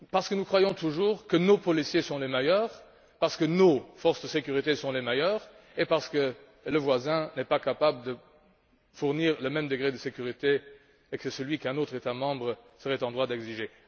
Parce que nous croyons toujours que nos policiers sont les meilleurs, que nos forces de sécurité sont les meilleures et que le voisin n'est pas capable de fournir le même degré de sécurité que celui qu'un autre État membre serait en droit d'exiger.